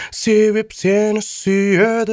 себеп сені сүйеді